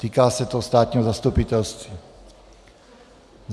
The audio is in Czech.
Týká se to státního zastupitelství.